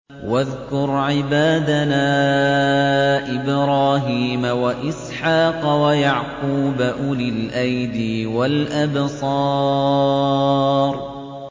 وَاذْكُرْ عِبَادَنَا إِبْرَاهِيمَ وَإِسْحَاقَ وَيَعْقُوبَ أُولِي الْأَيْدِي وَالْأَبْصَارِ